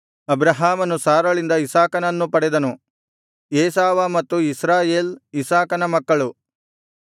ಅಬ್ರಹಾಮನು ಸಾರಳಿಂದ ಇಸಾಕನನ್ನು ಪಡೆದನು ಏಸಾವ ಮತ್ತು ಇಸ್ರಾಯೇಲ್ ಇಸಾಕನ ಮಕ್ಕಳು